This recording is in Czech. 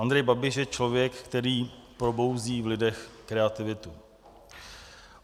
Andrej Babiš je člověk, který probouzí v lidech kreativitu.